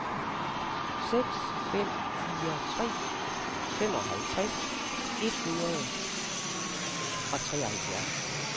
seks fem fire tre femoghalvtreds et hundrede og treoghalvfjerds